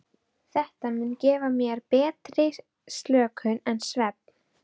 Þetta mun gefa þér meiri og betri slökun en svefn.